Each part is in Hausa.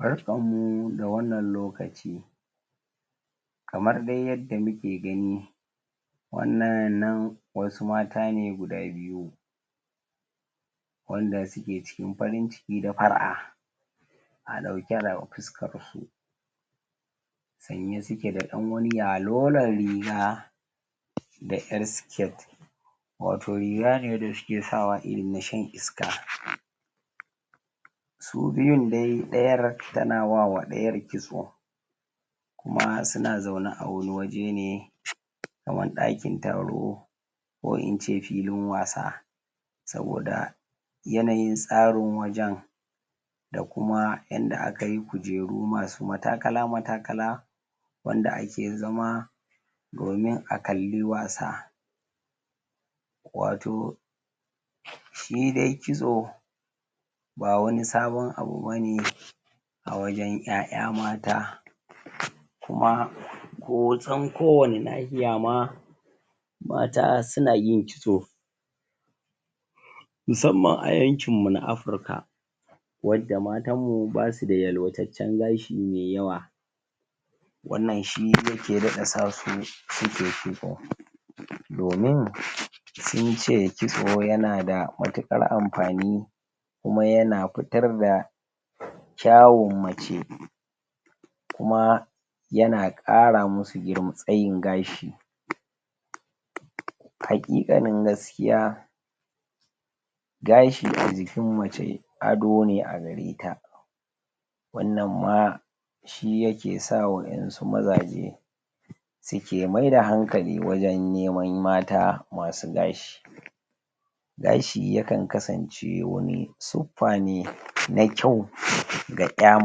Barkanmu da wannan lokaci kamar de yadda muke gani wannan nan wasu mata ne guda biyu wanda suke ciki farn ciki da far'a a ɗauke da fuska rufe sanye suke da ɗan wani yalolon riga da ƴar siket wato riga ne wanda suke sawa irin na shan iska su biyun de, ɗayar tana wa ɗayar kitso kuma suna zaune a wani wajene kamar ɗakin taro ko ince filin wasa saboda yanayin tsarin wajan da kuma yanda akayi kujerun masu matakala-matakala wanda ake zama domin a kali wasa wato shi de kitso ba wani sabon abu bane a wajan ƴaya mata kuma hoton ko wani nahiya ma mata suna yin kitso musamman a yankin mu na Africa wanda matanmu basuda yalwatacen gashi mai yawwa wannan shi yake daɗa sa su suke kitso domin sunce kitso yanada mutukar amfani kuma yana fitar da kyawun mace kuma yana ƙara musu tsayin gashi hakiƙanin gaskiya gashi a jikin mace, adone a gareta wannan ma shi yake sa wayansu mazaje suke miyar da hankali wajan neman mata masu gashi gashi yakan kasance wani sufane na kyau ga ƴa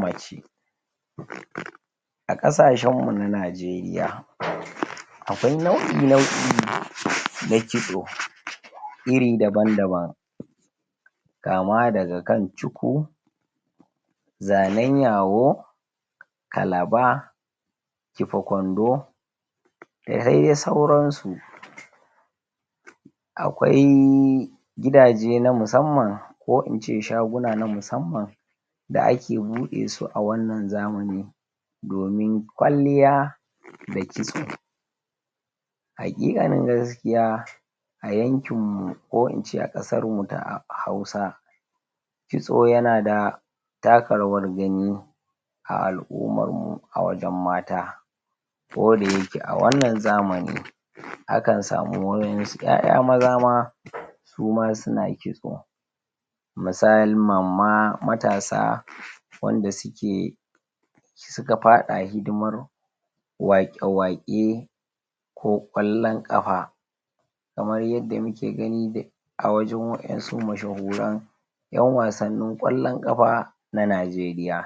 mace a ƙasashenmu na Najeriya akwai nau'i na kitso iri daban-daban kama daga kan shuku zanen yawo kalaba kifa kwando dade sauran su akwai gidaje na musamman ko ince shaguna na musamman da ake buɗesu a wannan zamanin domin kwaliya da kitso hakika na gaskiya a yankinmu ko ince a ƙasarmu ta hausa kitso yana da taka rawar gani a al'ummarmu a wajan mata ko dayake a wannan zamani akan samu wayansu ƴaya maza ma suma suna kitso misalin mamma matasa wanda suke ska faɗa hidimar waƙe-waƙe ko ƙ wallon ƙafa kamar yada muke gani de wayansu masha goran yan wassani kwallon ƙafa na Najeriya.